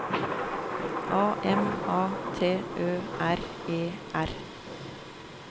A M A T Ø R E R